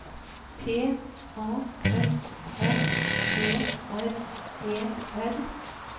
P A S S E R E R